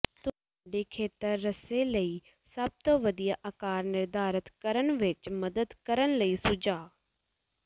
ਤੁਹਾਡੇ ਖੇਤਰ ਰੱਸੇ ਲਈ ਸਭ ਤੋਂ ਵਧੀਆ ਆਕਾਰ ਨਿਰਧਾਰਤ ਕਰਨ ਵਿੱਚ ਮਦਦ ਕਰਨ ਲਈ ਸੁਝਾਅ